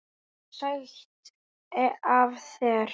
En sætt af þér!